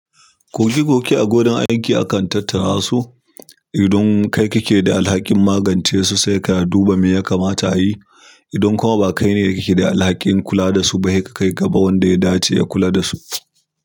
Kogi goge a gonan aiki akan tattara su. Idan kai kake da alhakin magance su sai ka duba me ya kamata a yi. Idan kuma ba kai ne dake da alhakin kula da su ba, sai ka kai gaba wanda ya dace ya kula dasu.